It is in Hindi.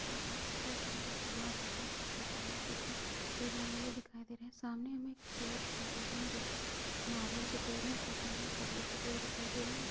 पहाड़ दिखाई दे रहा है जो कि बहोत बड़ा है हमें अशोक के पेड़ लगे हुए दिखाई दे रहे हैं सामने हमें पेड़ दिखाई दे रहे हैं जो कि नारियल के पेड़ हैं कुछ हमें खजूर के पेड़ दिखाई दे रहे हैं एक--